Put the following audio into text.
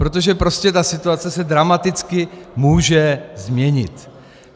Protože prostě ta situace se dramaticky může změnit.